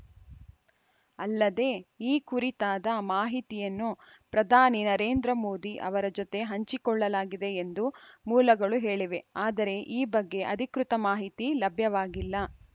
ಅಲ್ಲದೆ ಈ ಕುರಿತಾದ ಮಾಹಿತಿಯನ್ನು ಪ್ರಧಾನಿ ನರೇಂದ್ರ ಮೋದಿ ಅವರ ಜೊತೆ ಹಂಚಿಕೊಳ್ಳಲಾಗಿದೆ ಎಂದು ಮೂಲಗಳು ಹೇಳಿವೆ ಆದರೆ ಈ ಬಗ್ಗೆ ಅಧಿಕೃತ ಮಾಹಿತಿ ಲಭ್ಯವಾಗಿಲ್ಲ